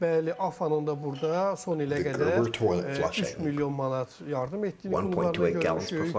Bəli, AFFA-nın da burda son ilə qədər 3 milyon manat yardım etdiyini klublarına görmüşük.